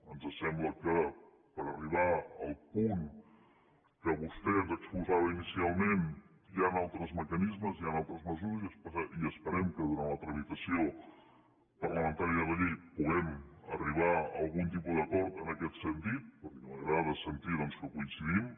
ens sembla que per arribar al punt que vostè ens exposava inicialment hi han altres mecanismes hi han altres mesures i esperem que durant la tramitació parlamentària de la llei puguem arribar a algun tipus d’acord en aquest sentit tot i que m’agrada sentir doncs que coincidim